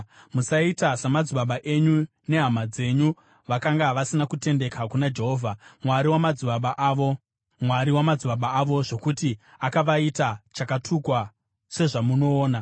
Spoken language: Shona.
Musaita samadzibaba enyu nehama dzenyu vakanga vasina kutendeka kuna Jehovha, Mwari wamadzibaba avo, zvokuti akavaita chakatukwa sezvamunoona.